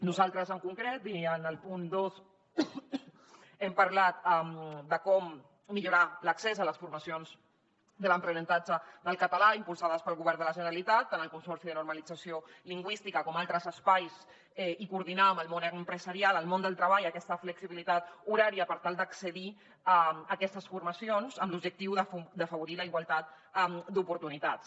nosaltres en concret i en el punt dos hem parlat de com millorar l’accés a les formacions de l’aprenentatge del català impulsades pel govern de la generalitat tant al consorci de normalització lingüística com a altres espais i coordinar amb el món empresarial el món del treball aquesta flexibilitat horària per tal d’accedir a aquestes formacions amb l’objectiu d’afavorir la igualtat d’oportunitats